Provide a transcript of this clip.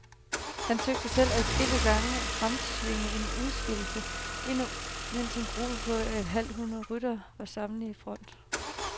Han søgte selv adskillige gange at fremtvinge en udskillelse, endnu mens en gruppe på et halvt hundrede ryttere var samlet i front.